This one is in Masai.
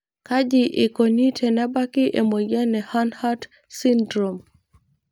Kaji eikoni tenebaki emoyian e Hanhart syndrome?